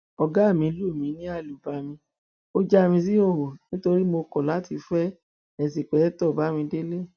ọgá mi lù mí lálùbami ó já mi síhòòhò nítorí mo kọ láti fẹ einṣìpẹkìtọ bámidélé